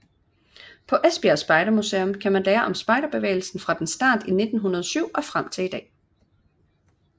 På Esbjerg spejdermuseum kan man lære om spejderbevægelsen fra dens start i 1907 og frem til i dag